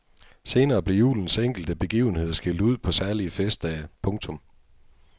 Senere blev julens enkelte begivenheder skilt ud på særlige festdage. punktum